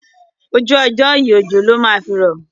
Ojú ọjọ́ yìí òjò ló máa fi rọ̀.